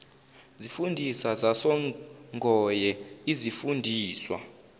zifundiswa zasongoye izifundiswa